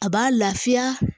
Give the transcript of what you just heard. A b'a lafiya